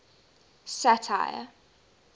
satire